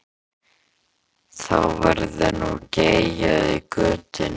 Þá verður nú geyjað í götunni.